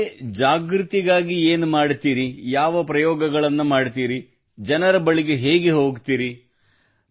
ಈ ಬಗ್ಗೆ ಜಾಗೃತಿಗಾಗಿ ಏನು ಮಾಡುತ್ತಿರಿ ಯಾವ ಪ್ರಯೋಗಗಳನ್ನು ಮಾಡುತ್ತೀರಿ ಜನರ ಬಳಿ ಹೇಗೆ ಹೋಗುತ್ತೀರಿ